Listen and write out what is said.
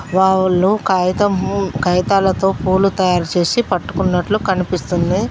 వాళ్ళు కాగితం కాగితాలతో పూలు తయారుచేసి పట్టుకున్నట్లు కనిపిస్తుంది.